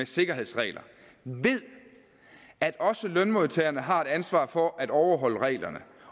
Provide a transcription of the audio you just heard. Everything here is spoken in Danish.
sikkerhedsregler ved at også lønmodtagerne har et ansvar for at overholde reglerne